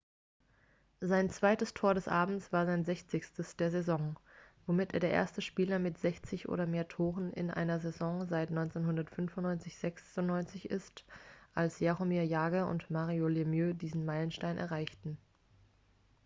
sein zweites tor des abends war sein sechzigstes der saison womit er der erste spieler mit 60 oder mehr toren in einer saison seit 1995-96 ist als jaromir jagr und mario lemieux diesen meilenstein erreichten